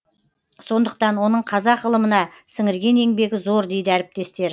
сондықтан оның қазақ ғылымына сіңірген еңбегі зор дейді әріптестер